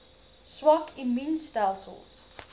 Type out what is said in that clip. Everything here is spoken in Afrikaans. swak immuun stelsels